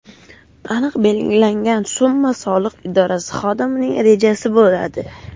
Aniq belgilangan summa soliq idorasi xodimining rejasi bo‘ladi.